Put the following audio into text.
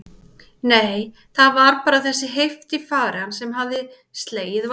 Nei, það var bara þessi heift í fari hans sem hafði slegið Valdimar.